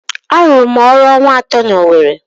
Arụrụ m ọrụ ọnwa atọ n'Owere.